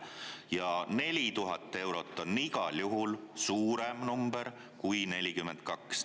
Ja 4000 eurot on igal juhul suurem number kui 42.